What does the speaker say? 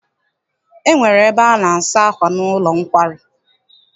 E nwere ebe a na-asa akwà n'ụlọ nkwari.